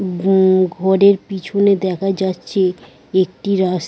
হুম ঘরের পিছনে দেখা যাচ্ছে একটি রাস --